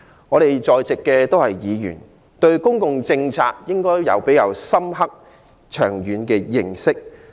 我們在座的議員，應該對公共政策有比較深刻長遠的認識。